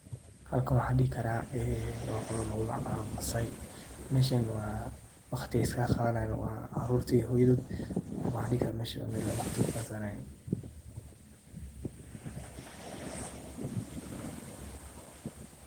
halkan waxaan dhihi karaa een wa qolo lagumagacaabo masaai, meeshan waa waqti ey iskaga qaadanayan waa caruurti iyo hooyadod waxaan dhihi karaa meeshan waa meeel ey waqti kuqaatan